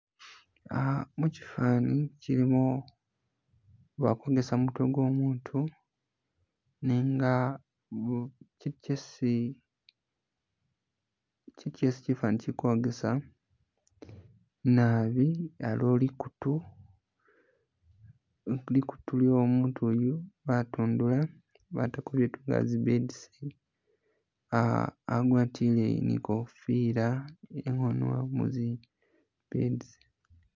Uh mukifani kilimo bali kwogesa kumutwe gwo umutu nenga kiitu kyesi kiitu kyesi kifani kili kwogesa naabi aliwo likutu lyo uutu uyu batundula batako biitu nga zi beads uh agwatile ne ikofila ilikho nin zi beads